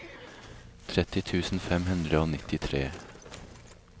tretti tusen fem hundre og nittitre